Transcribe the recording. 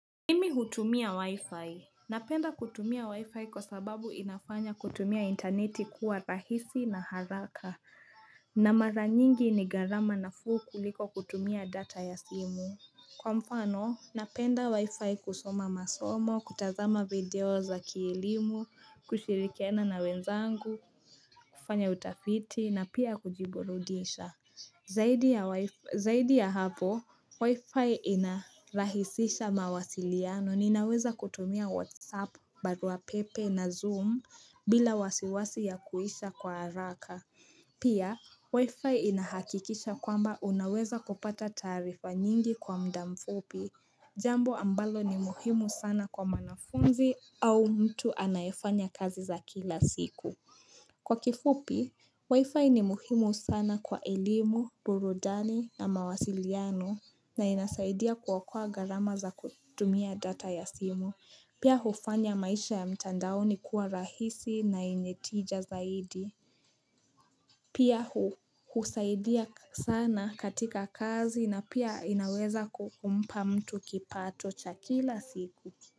Mimi hutumia wi-fi, napenda kutumia wi-fi kwa sababu inafanya kutumia intaneti kuwa rahisi na haraka na mara nyingi ni gharama nafuu kuliko kutumia data ya simu Kwa mfano, napenda wi-fi kusoma masomo, kutazama video za kielimu, kushirikiana na wenzangu, kufanya utafiti na pia kujiburudisha Zaidi ya hapo, wifi inarahisisha mawasiliano ninaweza kutumia whatsapp, baruapepe na zoom bila wasiwasi ya kuisha kwa haraka. Pia, wifi inahakikisha kwamba unaweza kupata taarifa nyingi kwa mda mfupi, jambo ambalo ni muhimu sana kwa mwanafunzi au mtu anayefanya kazi za kila siku. Kwa kifupi, wifi ni muhimu sana kwa elimu, burudani na mawasiliano na inasaidia kuokoa gharama za kutumia data ya simu. Pia hufanya maisha ya mtandaoni kuwa rahisi na yenye tija zaidi. Pia husaidia sana katika kazi na pia inaweza kukumpa mtu kipato cha kila siku.